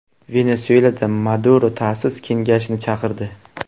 Venesuelada Maduro ta’sis kengashini chaqirdi.